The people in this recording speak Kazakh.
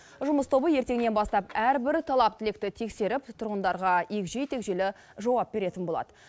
жұмыс тобы ертеңнен бастап әрбір талап тілекті тексеріп тұрғындарға егжей тегжейлі жауап беретін болады